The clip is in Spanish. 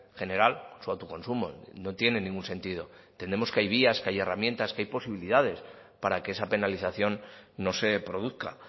general su autoconsumo no tiene ningún sentido entendemos que hay vías que hay herramientas que hay posibilidades para que esa penalización no se produzca